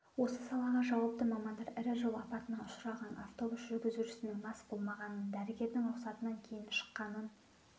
осы салаға жауапты мамандар ірі жол апатына ұшыраған автобус жүргізушісінің мас болмағанын дәрігердің рұқатынан кейін шыққанын